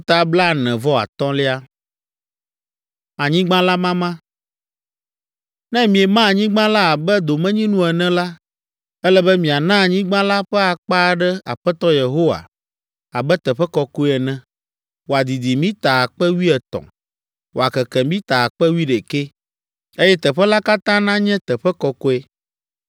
“ ‘Ne miema anyigba la abe domenyinu ene la, ele be miana anyigba la ƒe akpa aɖe Aƒetɔ Yehowa abe teƒe kɔkɔe ene, wòadidi mita akpe wuietɔ̃ (13,000) wòakeke mita akpe wuiɖeke (11,000), eye teƒe la katã nanye teƒe kɔkɔe.